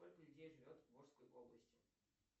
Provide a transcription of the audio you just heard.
сколько людей живет в волжской области